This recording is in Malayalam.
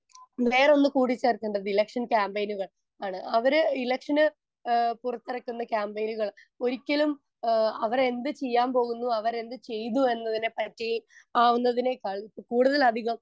സ്പീക്കർ 1 വേറൊന്നു കൂടി ചേർക്കേണ്ടത് ഇലക്ഷൻ ക്യാമ്പയിനുകൾ ആണ് അവര് ഇലക്ഷന് ആഹ് പുറത്തിറക്കുന്ന ക്യാമ്പയിനുകൾ ഒരിക്കലും ആഹ് അവരെന്തു ചെയ്യാൻ പോകുന്നു അവരെന്തു ചെയ്തു എന്നതിനെപ്പറ്റി ആവുന്നതിനേക്കാൾ കൂടുതലധികം